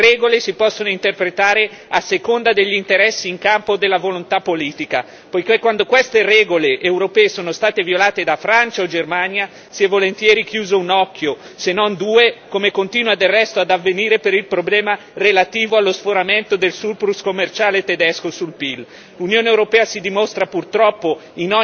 Quello che mi sembra però di capire chiaramente è che le regole si possono interpretare a seconda degli interessi in campo o della volontà politica, poiché quando queste regole europee sono state violate da Francia o Germania si è volentieri chiuso un occhio, se non due, come continua del resto ad avvenire per il problema relativo allo sforamento del surplus commerciale tedesco sul PIL.